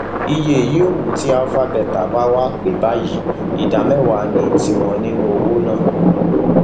iye yòówù tí alpha beta bá wàá pa báyìí ìdá mẹwàá ní tiwọn nínú owó náà